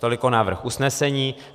Tolik návrh usnesení.